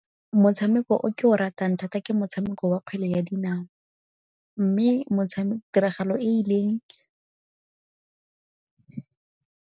Motshameko o ke o ratang thata ke motshameko wa kgwele ya dinao mme tiragalo e e .